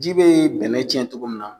Ji bɛ bɛnɛ tiɲɛn cogo min na.